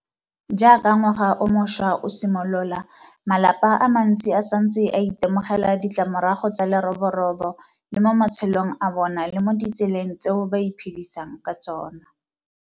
Jaaka ngwaga o mošwa o simolola, malapa a mantsi a santse a itemogela ditlamorago tsa leroborobo le mo matshelong a bona le mo ditseleng tseo ba iphedisang ka tsona.